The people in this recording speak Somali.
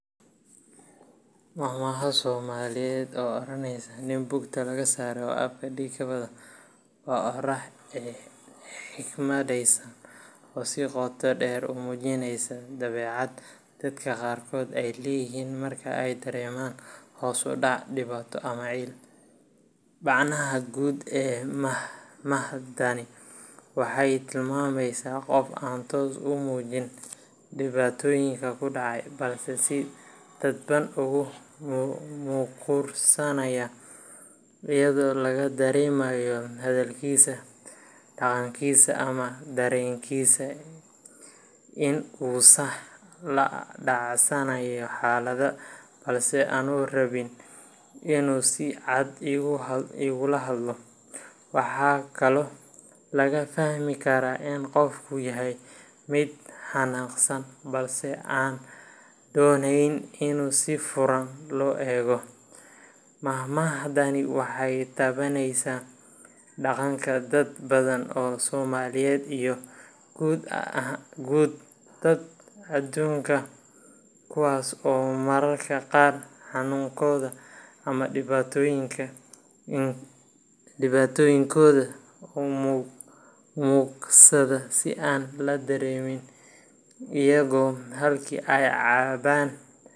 Maahmaahda Soomaaliyeed ee oranaysa "Nin bugta lagasare, oo afka dhig kawada" waa oraah xikmadaysan oo si qotodheer u muujinaysa dabeecad dadka qaarkood ay leeyihiin marka ay dareemaan hoos u dhac, dhibaato ama ciil. Macnaha guud ee maahmaahdani waxay tilmaamaysaa qof aan toos u muujin dhibaatooyinka ku dhacay, balse si dadban ugu muquursanaya, iyadoo laga dareemayo hadalkiisa, dhaqankiisa ama dareenkiisa inuusan la dhacsanayn xaaladda, balse aanu rabin inuu si cad uga hadlo. Waxaa kaloo laga fahmi karaa in qofku yahay mid xanaaqsan, balse aan doonayn inuu si furan u muujiyo, taasoo noqon karta mid sabir ah ama mid ay dareenkiisu la qarsan yihiin. Marka si qoto dheer loo eego, maahmaahdani waxay taabanaysaa dhaqanka dad badan oo soomaaliyeed iyo guud ahaan dadka adduunka, kuwaas oo mararka qaar xanuunkooda ama dhibaatooyinkooda u muquursada si aan la dareemin, iyagoo halkii ay caban.